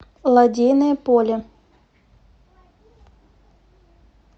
лодейное поле